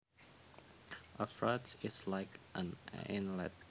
A fjord is like an inlet